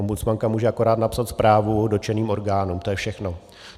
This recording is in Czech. Ombudsmanka může akorát napsat zprávu dotčeným orgánům, to je všechno.